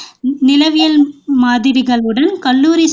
நிலவியல் மாதிரிகளுடன் கல்லூரி